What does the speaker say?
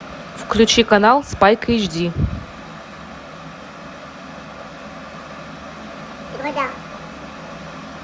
включи канал спайк эйчди